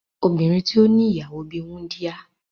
Obinrin ti o ni iyawo bi wundia